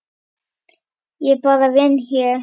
Ég bara vinn hér.